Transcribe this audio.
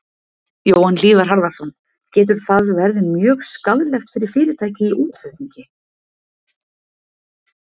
Jóhann Hlíðar Harðarson: Getur það verði mjög skaðlegt fyrir fyrirtæki í útflutningi?